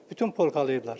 Bütün polkalayıblar.